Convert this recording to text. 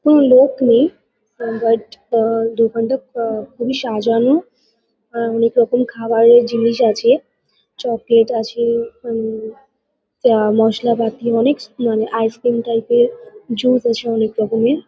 কোনো লোক নেই। বাট আ দোকানটা আ খুবই সাজানো। অনেক রকম খাবারের জিনিস আছে। চকলেট আছে উম আ মশলাপাতি অনেক স মানে আইসক্রিম টাইপ -এর জুস আছে অনেক রকমের।